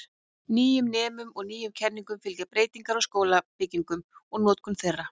Nýjum nemum og nýjum kenningum fylgja breytingar á skólabyggingum og notkun þeirra.